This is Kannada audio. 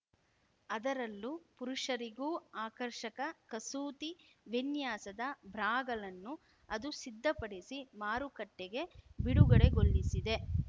ಅದರಲ್ಲೂ ಪುರುಷರಿಗೂ ಆಕರ್ಷಕ ಕಸೂತಿ ವಿನ್ಯಾಸದ ಬ್ರಾಗಳನ್ನೂ ಅದು ಸಿದ್ಧಪಡಿಸಿ ಮಾರುಕಟ್ಟೆಗೆ ಬಿಡುಗಡೆಗೊಳಿಸಿದೆ